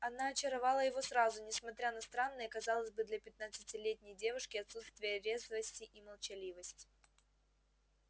она очаровала его сразу несмотря на странное казалось бы для пятнадцатилетней девушки отсутствие резвости и молчаливость